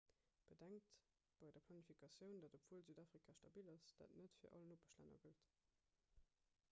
bedenkt bei der planifikatioun datt obwuel südafrika stabil ass dat net fir all nopeschlänner gëllt